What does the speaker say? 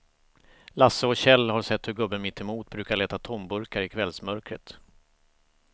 Lasse och Kjell har sett hur gubben mittemot brukar leta tomburkar i kvällsmörkret.